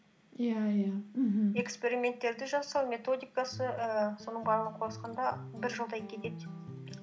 иә иә мхм эксперименттерді жасау методикасы ііі соның барлығын қосқанда бір жылдай кетеді